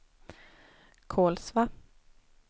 Kolsva